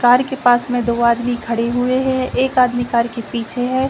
Car के पास में दो आदमी खड़े हुए हैं। एक आदमी कार के पीछे है।